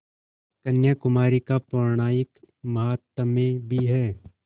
कन्याकुमारी का पौराणिक माहात्म्य भी है